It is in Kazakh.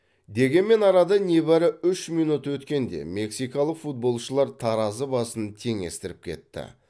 дегенмен арада небәрі үш минут өткенде мексикалық футболшылар таразы басын теңестіріп кетті